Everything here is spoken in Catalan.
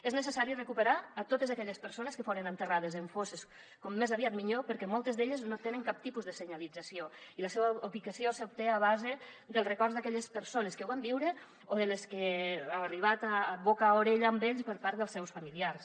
és necessari recuperar totes aquelles persones que foren enterrades en fosses com més aviat millor perquè moltes d’elles no tenen cap tipus de senyalització i la seva ubicació s’obté a base dels records d’aquelles persones que ho van viure o de les que els ha arribat boca a orella a ells per part dels seus familiars